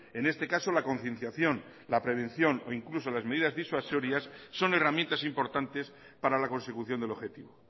en este caso la concienciación la prevención o incluso las medidas disuasorias son herramientas importantes para la consecución del objetivo